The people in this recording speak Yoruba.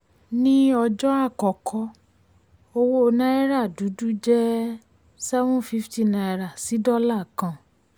ní ọjọ́ àkọ́kọ́ owó náírà dúdú jẹ́ seven fifty naira sí dọ́là kan.